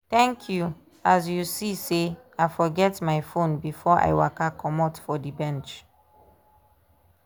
thank you as you see sey i forget my fone before i waka comot for the bench.